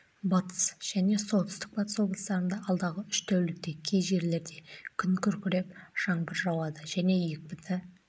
батыс және солтүстік-батыс облыстарында алдағы үш тәулікте кей жерлерде күн күркіреп жаңбыр жауады және екпінді